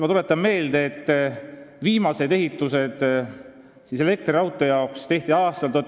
Ma tuletan meelde, et viimased ehitused elektriraudtee jaoks tehti aastal ...